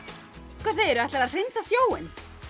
hvað segirðu ætlarðu að hreinsa sjóinn